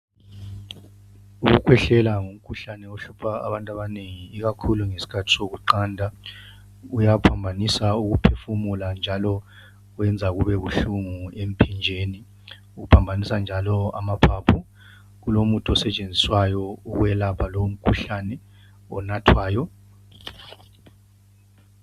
Ukukhwehlela ngumkhuhlane ohlupha abantu abanengi ikakhulu ngesikhathi sokuqanda. Uyaphambanisa ukuphefumula njalo wenza kubebuhlungu emphinjeni. Uphambanisa njalo amaphaphu. Kulomuthi osetshenziswayo ukwelapha lowu umkhuhlane onathwayo